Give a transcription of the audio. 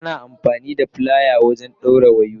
Ana amfani da filaya wajen dawrin wayoyi.